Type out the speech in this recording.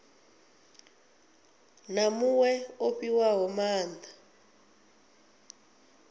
na muṅwe o fhiwaho maanda